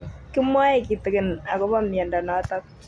Kimwae kitig'in akopo miondo notok